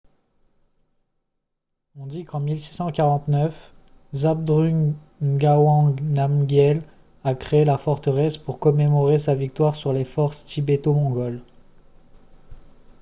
on dit qu'en 1649 zhabdrung ngawang namgyel a créé la forteresse pour commémorer sa victoire sur les forces tibéto-mongoles